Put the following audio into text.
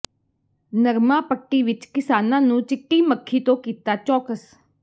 ਨਰਮਾ ਪੱਟੀ ਵਿੱਚ ਕਿਸਾਨਾਂ ਨੂੰ ਚਿੱਟੀ ਮੱਖੀ ਤੋਂ ਕੀਤਾ ਚੌਕਸ